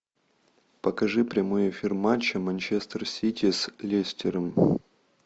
покажи прямой эфир матча манчестер сити с лестером